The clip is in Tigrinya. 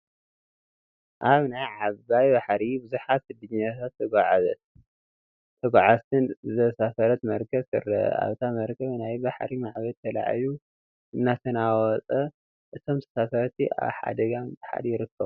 ኣብ ናይ ዓብይ ባሕሪ ብዙሓት ስደተኛታትን ተጓዓዝትን ዘሳፈረት መርከብ ትረአ፡፡ ኣብታ መርከብ ናይ ባሕሪ ማዕበል ተላዒሉ እንተናውፃ እቶም ተሳፈርቲ ኣብ ሓደጋ ምጥሓል ይርከቡ፡፡